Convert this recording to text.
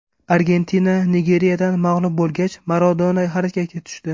Argentina Nigeriyadan mag‘lub bo‘lgach, Maradona harakatga tushdi.